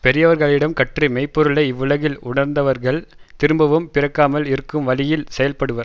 பெரியவர்களிடம் கற்று மெய் பொருளை இவ்வுலகில் உணர்ந்தவர்கள் திரும்பவும் பிறக்காமல் இருக்கும் வழியில் செயல்படுவர்